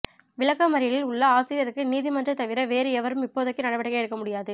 விளக்க மறியலில் உள்ள ஆசிரியருக்கு நீதி மன்றை தவிர வேறு எவரும் இப்போதைக்கு நடவடிக்கை எடுக்க முடியாது